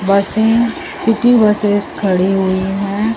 बसें city buses खड़ी हुए हैं।